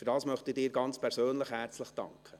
Dafür möchte ich Ihnen ganz persönlich herzlich danken.